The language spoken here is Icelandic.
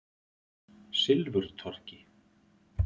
Silfurtorgi